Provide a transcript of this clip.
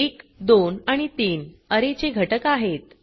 1 2 आणि 3 अरे चे घटक आहेत